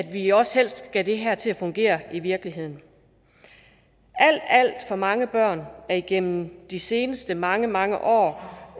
vi også helst skal have det her til at fungere i virkeligheden alt alt for mange børn har igennem de seneste mange mange år